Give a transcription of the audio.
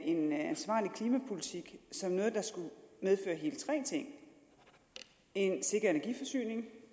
en ansvarlig klimapolitik som noget der skulle medføre hele tre ting en sikker energiforsyning